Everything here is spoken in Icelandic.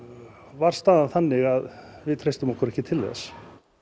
var staðan þannig að við treystum okkur ekki til þess